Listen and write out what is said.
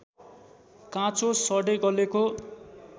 काँचो सडेगलेको